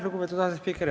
Lugupeetud asespiiker!